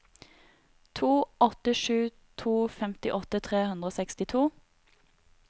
to åtte sju to femtiåtte tre hundre og sekstito